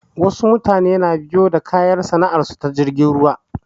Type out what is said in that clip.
Wasu mutane na biyo da kayan sana'ar su ta jirgin ruwa